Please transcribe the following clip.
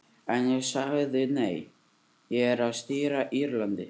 En ég sagði nei, ég er að stýra Írlandi.